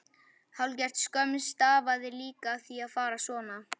Hálfgerð skömm stafaði líka af því að fara svona.